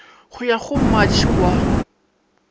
go ya go matšhe wa